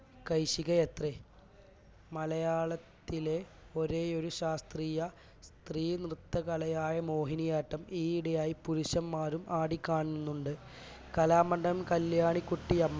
കൈശികിയത്രെ മലയാളത്തിലെ ഒരേയൊരു ശാസ്ത്രീയ സ്ത്രീനൃത്തകലയായ മോഹിനിയാട്ടം ഈയിടെയായി പുരുഷന്മാരും ആടിക്കാണുന്നുണ്ട് കലാമണ്ഡലം കല്യാണിക്കുട്ടിയമ്മ